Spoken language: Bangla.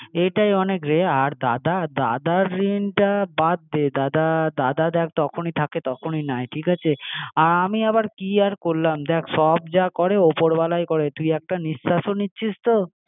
এটাই অনেক রে আর দাদা? দাদার ঋণটা বাদ দে, দাদা দাদা দেখ তখনই থাকে তখনই নাই আর আমি আবার কি আর করলাম দেখ সব যা করে ওপর ওয়ালার করে তুই কত নিঃস্বাসও নিচ্ছিস তো